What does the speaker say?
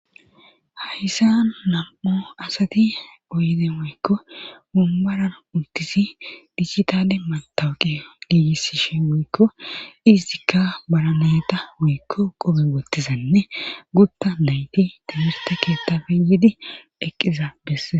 Hayssa nam'o asati oyde maykko mumbaran uttisi dichchitale maltawuqe giigissishe wuykko izdikka baranayta wuyikko qobe wottizanne gutta nayti timirte keettafe yiidi eqqiza bessees.